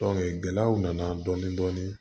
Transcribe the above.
gɛlɛyaw nana dɔɔnin dɔɔnin